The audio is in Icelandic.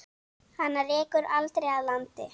Hana rekur aldrei að landi.